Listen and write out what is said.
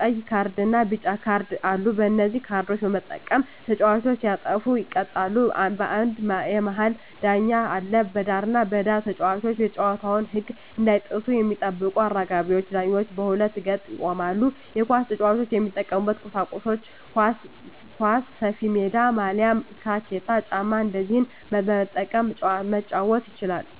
ቀይ ካርድና ቢጫ ካርድ አሉ በነዚህ ካርዶች በመጠቀም ተጫዋቾች ሲያጠፉ ይቀጡበታል አንድ የመሀል ዳኛ አለ በዳርና በዳር ተጫዋቾች የጨዋታዉን ህግ እንዳይጥሱ የሚጠብቁ አራጋቢ ዳኞች በሁለት ገጥ ይቆማሉ የኳስ ጫዋች የሚጠቀሙበት ቁሳቁሶች ኳስ፣ ሰፊሜዳ፣ ማልያ፣ ታኬታ ጫማ እነዚህን በመጠቀም መጫወት ይቻላል